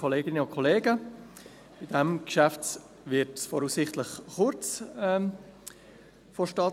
Dieses Geschäft wird voraussichtlich in kurzer Zeit vonstattengehen.